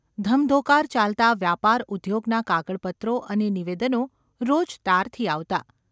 ધમધોકાર ચાલતા વ્યાપાર ઉદ્યોગના કાગળપત્રો અને નિવેદનો રોજ તારથી આવતા.